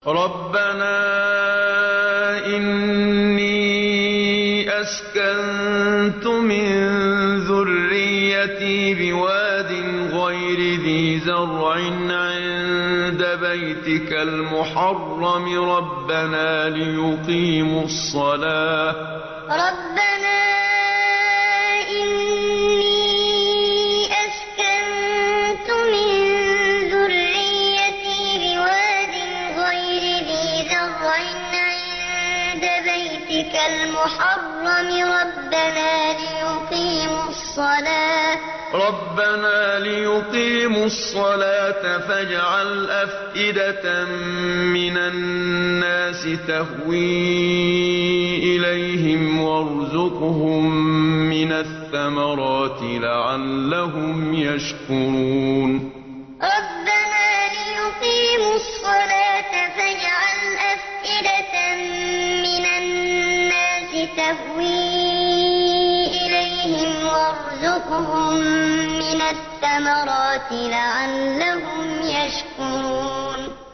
رَّبَّنَا إِنِّي أَسْكَنتُ مِن ذُرِّيَّتِي بِوَادٍ غَيْرِ ذِي زَرْعٍ عِندَ بَيْتِكَ الْمُحَرَّمِ رَبَّنَا لِيُقِيمُوا الصَّلَاةَ فَاجْعَلْ أَفْئِدَةً مِّنَ النَّاسِ تَهْوِي إِلَيْهِمْ وَارْزُقْهُم مِّنَ الثَّمَرَاتِ لَعَلَّهُمْ يَشْكُرُونَ رَّبَّنَا إِنِّي أَسْكَنتُ مِن ذُرِّيَّتِي بِوَادٍ غَيْرِ ذِي زَرْعٍ عِندَ بَيْتِكَ الْمُحَرَّمِ رَبَّنَا لِيُقِيمُوا الصَّلَاةَ فَاجْعَلْ أَفْئِدَةً مِّنَ النَّاسِ تَهْوِي إِلَيْهِمْ وَارْزُقْهُم مِّنَ الثَّمَرَاتِ لَعَلَّهُمْ يَشْكُرُونَ